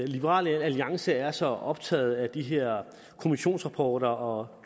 liberal alliance er så optaget af de her kommissionsrapporter og